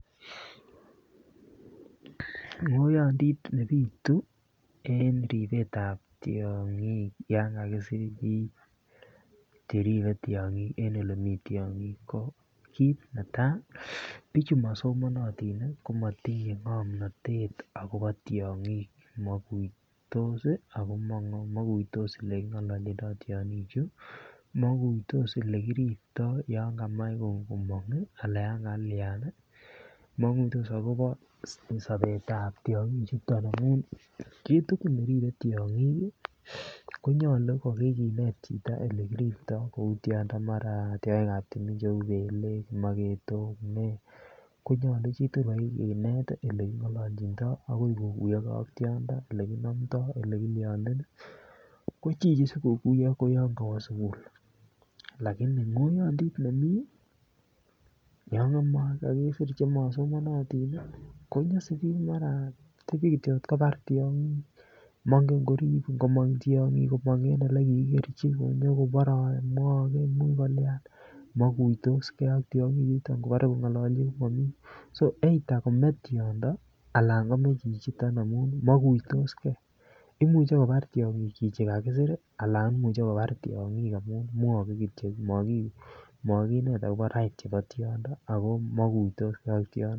Moyondit nebitu en ribetab tyogik yon kakisir biik cheribe tyogik en ole mii tyogik ko kit netaa bichiu mosomonotin komo tinye ngomnotet akobo tyogik moiguitos ako moiguitos ole kingololjindo tyogichu moiguitos ele kiribto Yan kamach komong ii ala Yan kalian ii. Moiguitos akobo sobetab tyogik chuton amun chi tuguk neribe tyogik ko nyoluu ko kikinet chito ole kiribto kouu tyondo. Mara tyogikab timin che uu belek mogetok nee konyoluu ko nyoluu chitugul kikinet ole kingololjindo agoi koguyo gee ak tyondo ole kinomdo ole kilyonen ii ko chenge si koguyo kouu yon kowo sukul lakini moyondit nemii yon kakisir chemo somonotin ko nyosee biik mara tebye kityo kot kobar tyogik mongen korib ngomong tyogik komong en ole kikikerji konyo kobore ko mwok imuch kolian moiguitos gee ak tyogik chuton ngobore ko ngololji ko momii ko either komee tyondo anan komee amun moiguitos gee imuche kobar tyogik chichi kakisir anan imuch kobar tyogik amun mwokee kityo makinet akobo right chebo tyondo ako moiguitos gee ak tyondo